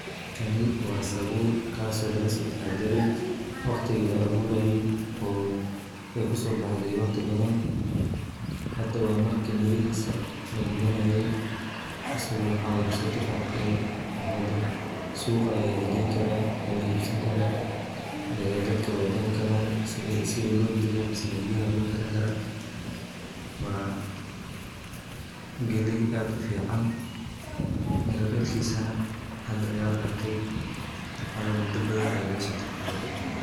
Kani waa sabuul Kaas oo laga soo taxadare oo aay kusoo baxde waqti badan hada suuqa ayaa lageyni karaa si loo iibsado dadka waay karsan karaan waa galeey aad ufican waayo muda badan ayaa laga soo taxadare.